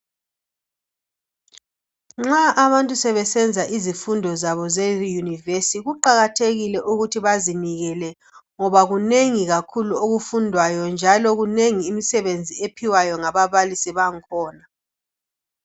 Nxa abantu sebesenza izifundo zabo ze yunivesi kuqakathekile ukuthi bazinikele ngoba kunengi kakhulu okufundwayo njalo minengi imisebenzi ephiwayo ngababalisi bakhona.